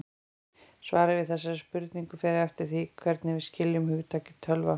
Svarið við þessari spurningu fer eftir því hvernig við skiljum hugtakið tölva.